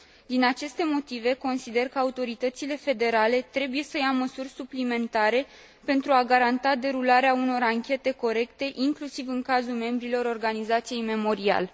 Din aceste motive, consider că autoritățile federale trebuie să ia măsuri suplimentare pentru a garanta derularea unor anchete corecte inclusiv în cazul membrilor organizației Memorial.